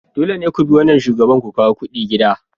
Dole ne ku bi wannan shugaban ku kawo kudi gida.